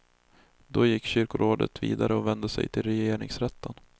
Då gick kyrkorådet vidare och vände sig till regeringsrätten.